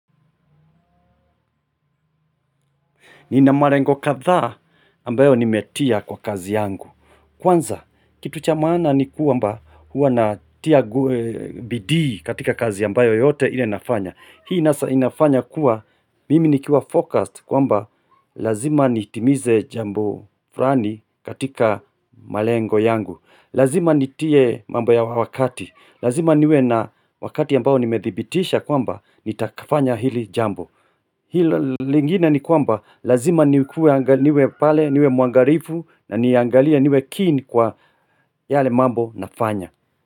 Nina malengo kadhaa ambayo nimetia kwa kazi yangu. Kwanza kitu cha maana ni kwamba hua natia bidii katika kazi ambayo yote ile inafanya. Hii inafanya kuwa mimi nikiwa focused kwamba lazima nitimize jambo fulani katika malengo yangu. Lazima nitie mambo ya wakati. Lazima niwe na wakati ambao nimedhibitisha kwamba nitafanya hili jambo. Hilo lingine ni kwamba lazima niwe pale niwe mwangalifu na niangalie niwe keen kwa yale mambo nafanya.